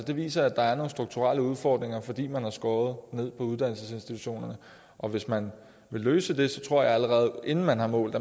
viser at der er nogle strukturelle udfordringer fordi man har skåret ned på uddannelsesinstitutionerne og hvis man vil løse det tror jeg man allerede inden man har målt